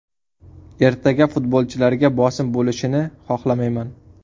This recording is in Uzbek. Ertaga futbolchilarga bosim bo‘lishini xohlamayman.